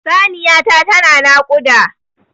Saniya ta ta na naƙuda